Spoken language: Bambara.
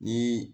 Ni